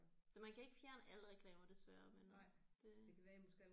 Det man kan ikke fjerne alle reklamer desværre men øh det